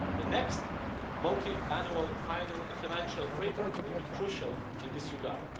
The next multiannual financial framework will be crucial in this regard.